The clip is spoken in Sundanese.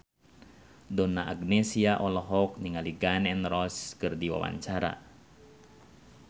Donna Agnesia olohok ningali Gun N Roses keur diwawancara